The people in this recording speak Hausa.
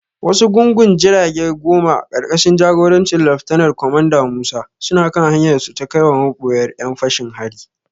Wasu gungun jirage goma, ƙarƙashin jagorancin Laftanar Kwamanda Musa, suna kan hanyarsu ta kaiwa maboyar ƴan fashin hari.